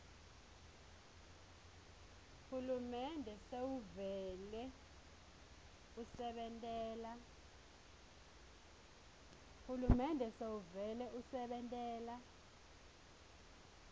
hulumende sewuvele usebentela